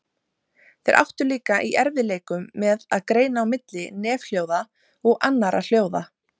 Þeir áttu líka í erfiðleikum með að greina á milli nefhljóða og annarra hljóða.